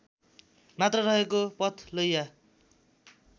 मात्र रहेको पथलैया